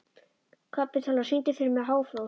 Kapitola, syngdu fyrir mig „Háflóð“.